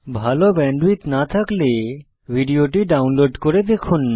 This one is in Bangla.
ভাল ব্যান্ডউইডথ না থাকলে ভিডিওটি ডাউনলোড করে দেখুন